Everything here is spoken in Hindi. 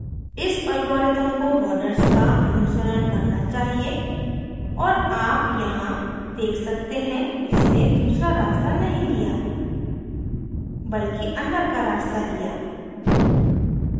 इस algorithm को borders का अनुसरण करना चाहिए और आप यहाँ देख सकते हैं इसने दूसरा रास्ता नहीं लिया बल्कि अंदर का रास्ता लिया